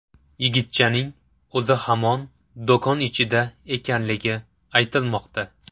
Yigitchaning o‘zi hamon do‘kon ichida ekanligi aytilmoqda.